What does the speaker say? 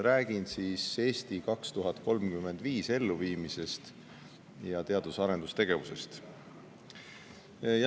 Räägin "Eesti 2035" elluviimisest ning teadus- ja arendustegevusest.